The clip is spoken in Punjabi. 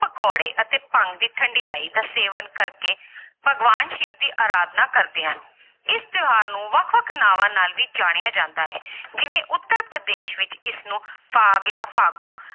ਪਕੌੜੇ ਅਤੇ ਭੰਗ ਦੀ ਠੰਢਿਆਈ ਦਾ ਸੇਵਨ ਕਰਕੇ ਭਗਵਾਨ ਸਿਵ ਦੀ ਆਰਾਧਨਾ ਕਰਦੇ ਹਨ ਇਸ ਤਿਉਹਾਰ ਨੂੰ ਵੱਖ ਵੱਖ ਨਾਵਾਂ ਨਾਲ ਵੀ ਜਾਣਿਆ ਜਾਂਦਾ ਹੈ ਜਿਵੇਂ ਉੱਤਰ ਪ੍ਰਦੇਸ਼ ਵਿੱਚ ਇਸਨੂੰ ਫਾਗ ਜਾਂ ਫਾਗੂ